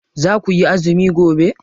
Za kuyi azumi gobe?